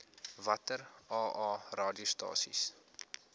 watter aa radiostasies